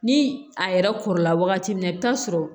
Ni a yɛrɛ kɔrɔla wagati min na i bi taa sɔrɔ